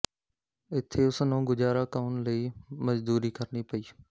ਇੱਥੇ ਉਸਨੂੰ ਗੁਜ਼ਾਰਾ ਕੳਨ ਲਈ ਮਜ਼ਦੂਰੀ ਕਰਨੀ ਪਈ